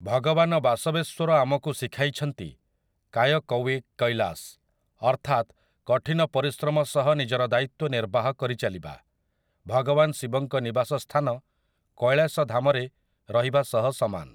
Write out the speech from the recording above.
ଭଗବାନ ବାସବେଶ୍ୱର ଆମକୁ ଶିଖାଇଛନ୍ତି 'କାୟକୱେ କୈଲାସ୍' ଅର୍ଥାତ୍ କଠିନ ପରିଶ୍ରମ ସହ ନିଜର ଦାୟିତ୍ୱ ନିର୍ବାହ କରିଚାଲିବା, ଭଗବାନ ଶିବଙ୍କ ନିବାସ ସ୍ଥାନ କୈଳାସ ଧାମରେ ରହିବା ସହ ସମାନ ।